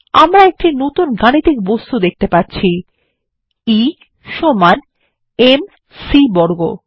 আমরা একটি নতুন গাণিতিক বস্তু দেখতে পাচ্ছি E সমান M C বর্গ